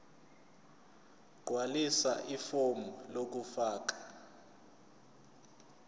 gqwalisa ifomu lokufaka